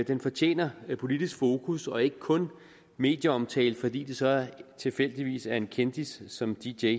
den fortjener et politisk fokus og ikke kun medieomtale fordi det så tilfældigvis er en kendis som dj